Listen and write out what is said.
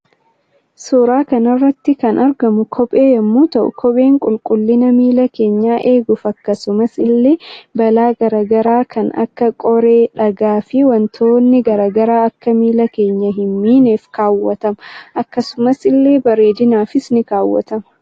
Suuraa kanarratti kan argamu kophee yommuu ta'u kopheen qulqullina miila keenyaa eeguuf akkasumas ille balaa garaa garaa kan akka qoree dhagaa fi waantonni garaa garaa Akka miila keenya hin miineef kaawwatama akkasumas ille bareedinaafis ni kaawwatama.